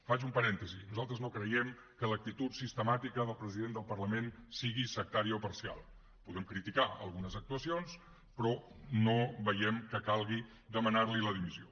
faig un parèntesi nosaltres no creiem que l’actitud sistemàtica del president del parlament sigui sectària o parcial podem criticar algunes actuacions però no veiem que calgui demanar li la dimissió